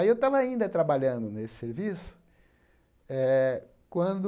Aí eu estava ainda trabalhando nesse serviço eh quando